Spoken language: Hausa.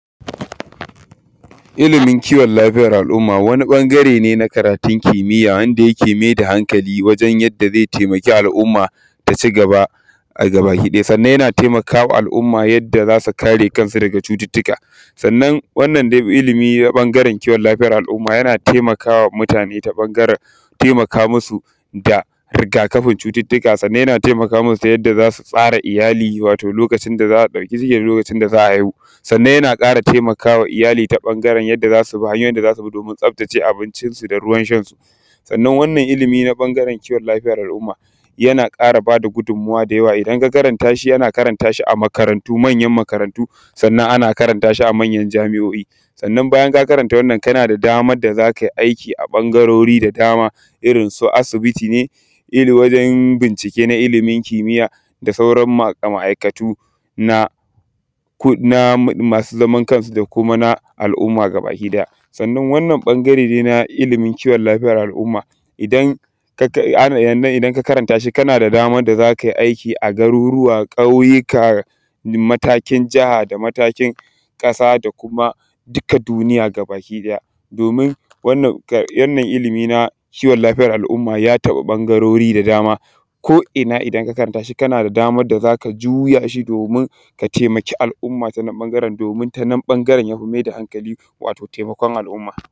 Ilimin kiwon lafiyar al’umma wani ɓangare ne na karatun kimiya wanda yake mai da hankali wajen yadda zai taimaki al’umma ta ci gaba a gabakiɗaya. Sannan yana taimakama al’umma yadda za su kare kansu daga cututtuka, sannan dai wannan ilimi na ɓangaren kiwon lafiaya na al’umma yana taimakawa muata ne ta ɓangaren taimka musu da rigakafin cututtuka, sannan yana taimakamin ta yadda za su tsara iyali wato lokacin da za a ɗauka ciki lokacin da za a haihu. Sannan yana ƙara taimaka ma iyali ta yadda hanyoyin da za su bi domin tsaftace abincin su da ruwan shan su, sannan wannan lilimi ta ɓangaren kiwon lafiya da al’umma yana ƙara bada gudunmuwa da yawa idan ka karanta shi, ana karanta shi a makarantu, manyan makarantu sannan ana karanta shi a manyan jami’o’I, sannan bayan ka karanta wannan yana da damar da za ka yi aiki a ɓangarori da dama irin su asibiti ne, irin wajen bincike na ilimi kimiya da sauran maaikatu na masu zaman kansu da kuma al’umma gabaki ɗaya. Sannan wannan ɓangare dai na ilimin kiwon lafiya na al’umma idan ka karanta shi yana daman da za kai aiki a garuruwa, ƙauyuka, matakin jaha da kuma matakin ƙasa da kuma duka duniya gabakiɗaya domin wanna ilimi na kiwon lafiyar al’umma ya taɓa ɓangarori da dama ko’ina idan ka karanta shi kana da daman da za ka yi juya shi domin ka taimaki al’umma ta nan ɓangaren domin ta nan ɓangaren ka mai da hankali, wato taimakon al’umma.